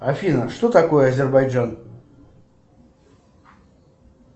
афина что такое азербайджан